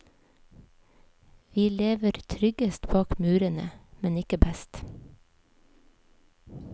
Vi lever tryggest bak murene, men ikke best.